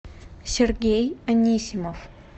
сергей анисимов